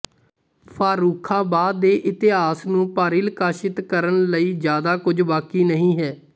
ਫੱਰੂਖਾਬਾਦ ਦੇ ਇਤਹਾਸ ਨੂੰ ਪਰਿਲਕਸ਼ਿਤ ਕਰਣ ਲਈ ਜਿਆਦਾ ਕੁੱਝ ਬਾਕੀ ਨਹੀਂ ਹੈ